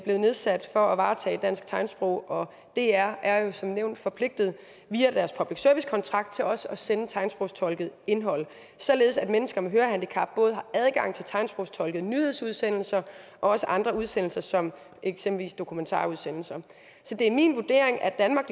nedsat for at varetage spørgsmål vedrørende dansk tegnsprog og dr er jo som nævnt forpligtet via deres public service kontrakt til også at sende tegnsprogstolket indhold således at mennesker med hørehandicap har adgang til både tegnsprogstolkede nyhedsudsendelser og andre udsendelser som eksempelvis dokumentarudsendelser så det er min vurdering at danmark